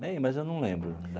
Né, mas eu não lembro